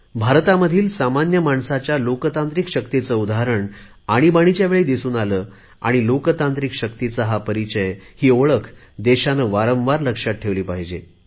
भारतामधील सामान्य माणसाच्या लोकशाहीवादी शक्तीचे उत्तम उदाहरण आणीबाणीच्या वेळी दिसून आले आणि लोकशाही शक्तीचा हा परिचय ही ओळख देशाने वारंवार लक्षात ठेवली पाहिजे